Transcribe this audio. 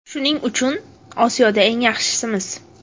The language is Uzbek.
Shuning uchun Osiyoda eng yaxshimiz.